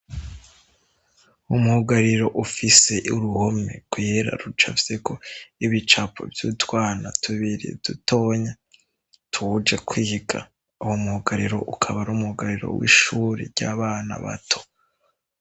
Umugariro ufise uruhome kwihera ruca vyeko ibicapo vy'utwana tubirie dutonya tuwuje kwiga awu muhugariro ukaba ari umugariro w'ishuri ry'abana bato.